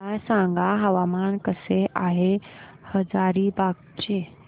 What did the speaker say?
मला सांगा हवामान कसे आहे हजारीबाग चे